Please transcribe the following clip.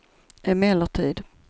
emellertid